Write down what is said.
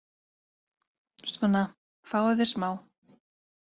Svona, fáðu þér smá.